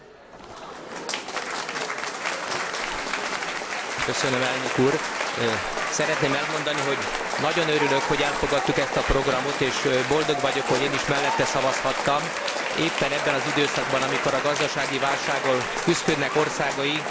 Szeretném elmondani, hogy nagyon örülök, hogy elfogadtuk ezt a programot és boldog vagyok, hogy én is mellette szavazhattam, éppen ebben az időszakban, amikor a gazdasági válsággal küszködnek országaink és a munkanélküliség aránya tíz százalék vagy afölött is van sok országunkban.